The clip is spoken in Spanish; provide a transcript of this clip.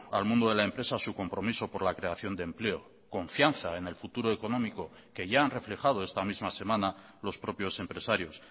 al mundo de la empresa su compromiso por la creación de empleo confianza en el futuro económico que ya han reflejado esta misma semana los propios empresarios